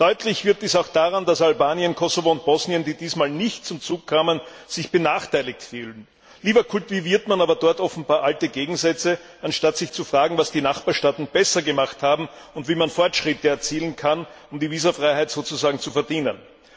Deutlich wird dies auch daran, dass Albanien, Kosovo und Bosnien, die dieses Mal nicht zum Zug kamen, sich benachteiligt fühlen. Lieber kultiviert man dort aber offenbar alte Gegensätze, anstatt sich zu fragen, was die Nachbarstaaten besser gemacht haben und wie man Fortschritte erzielen kann, um die Visafreiheit sozusagen zu verdienen.